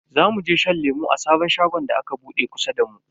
Zamu je shan lemu a sabon shagon da aka bude kusa da mu.